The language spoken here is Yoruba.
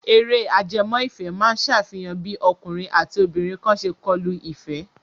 Eré ajẹmọ́-ìfẹ́ máa ṣàfihàn bí ọkùnrin àti obìnrin kan ṣe kọlu ìfẹ́.